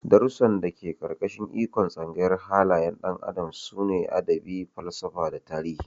Darussan da ke ƙarƙashin ikon Tsangayar halayyar ɗan adam sune Adabi, Falsafa da Tarihi.